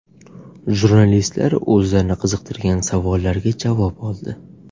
Jurnalistlar o‘zlarini qiziqtirgan savollarga javob oldi.